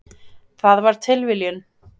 Það var tilviljun.